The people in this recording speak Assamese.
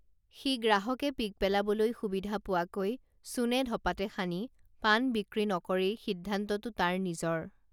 সি গ্ৰাহকে পিক পেলাবলৈ সুবিধা পোৱাকৈ চূণে ধঁপাতে সানি পাণ বিক্ৰী নকৰেই সিদ্ধান্তটো তাৰ নিজৰ